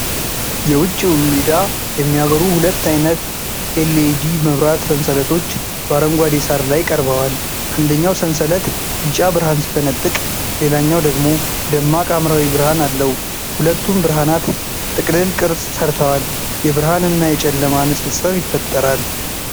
የውጪውን ሜዳ የሚያበሩ ሁለት ዓይነት የኤል.ኢ.ዲ. መብራት ሰንሰለቶች በአረንጓዴ ሳር ላይ ቀርበዋል። አንደኛው ሰንሰለት ቢጫ ብርሃን ሲፈነጥቅ ሌላኛው ደግሞ ደማቅ ሐምራዊ ብርሃን አለው። ሁለቱም ብርሃናት ጥቅልል ቅርጽ ሰርተዋል። የብርሃንና የጨለማ ንጽጽር ይፈጠራል።